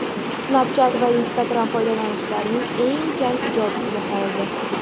Snapchat va Instagram foydalanuvchilardan eng kam ijobiy baho oldi.